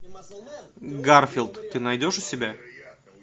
гарфилд ты найдешь у себя